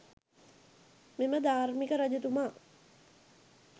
මෙම ධාර්මික රජතුමා